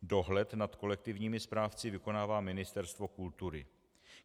Dohled nad kolektivními správci vykonává Ministerstvo kultury.